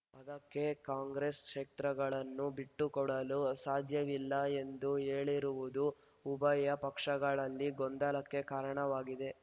ಅದಕ್ಕೆ ಕಾಂಗ್ರೆಸ್ ಈ ಕ್ಷೇತ್ರಗಳನ್ನು ಬಿಟ್ಟುಕೊಡಲು ಸಾಧ್ಯವಿಲ್ಲ ಎಂದು ಹೇಳಿರುವುದು ಉಭಯ ಪಕ್ಷಗಳಲ್ಲಿ ಗೊಂದಲಕ್ಕೆ ಕಾರಣವಾಗಿದೆ